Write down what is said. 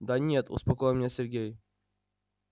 да нет успокоил меня сергей